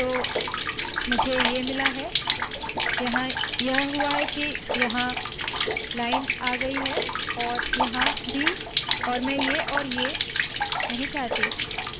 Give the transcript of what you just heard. तो मुझे ये मिला है यहाँ यह हुआ है के यह लाइन यहाँ आई है और यहाँ भी और मैं ये औए ये नहीं चाहती